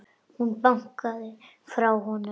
Hún bakkaði frá honum.